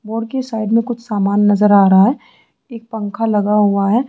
मोर के साइड में कुछ सामान नजर आ रहा है पंखा लगा हुआ है।